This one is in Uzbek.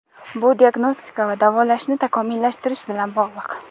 Bu diagnostika va davolashni takomillashtirish bilan bog‘liq.